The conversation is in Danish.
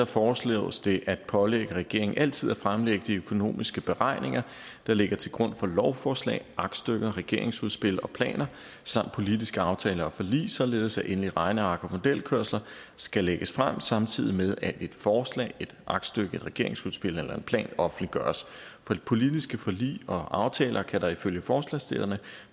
foreslås det at pålægge regeringen altid at fremlægge de økonomiske beregninger der ligger til grund for lovforslag aktstykker regeringsudspil og planer samt politiske aftaler og forlig således at endelige regneark og modelkørsler skal lægges frem samtidig med at et forslag et aktstykke et regeringsudspil eller en plan offentliggøres for de politiske forlig og aftaler kan der ifølge forslagsstillerne